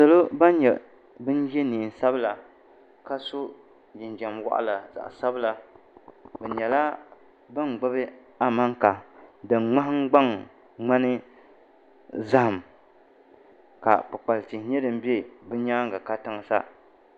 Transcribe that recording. salo ban nyɛ ban ye neen'sabila ka so jinjam waɣila zaɣ' sabila bɛ nyɛla ban gbibi amanka din ŋmahimgbaŋ ŋmani zahim ka kpikpali tihi nyɛ din be bɛ nyaanga katiŋa sa